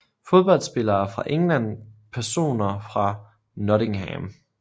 Fodboldspillere fra England Personer fra Nottingham